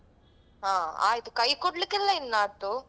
ಹಾ ಆಯ್ತು ಕೈ ಕೊಡ್ಲಿಕಿಲ್ಲ ಇನ್ನಾದು.